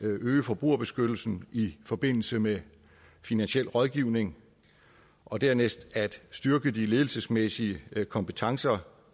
at øge forbrugerbeskyttelsen i forbindelse med finansiel rådgivning og dernæst at styrke de ledelsesmæssige kompetencer